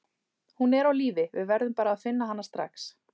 Hún er á lífi, við verðum bara að finna hana strax.